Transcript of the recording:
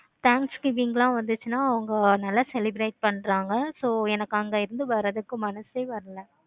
thanks giving ல வந்துச்சின்னா அவங்க நல்லா celebrate பண்றாங்க. so எனக்கு அங்க இருந்து வரதுக்கு மனசே வரல.